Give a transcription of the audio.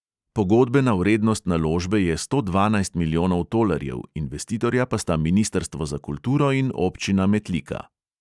Pogodbena vrednost naložbe je sto dvanajst milijonov tolarjev, investitorja pa sta ministrstvo za kulturo in občina metlika.